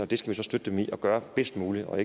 det skal vi støtte dem i at gøre bedst muligt og